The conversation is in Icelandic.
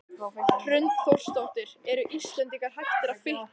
Hrund Þórsdóttir: Eru Íslendingar hættir að fitna?